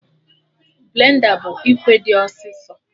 Blenda bụ ikwe dị ọsị ọsọ